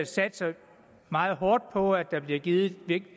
satser meget hårdt på at der bliver givet